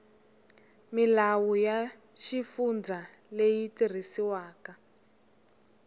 milawu ya xifundza leyi tirhisiwaka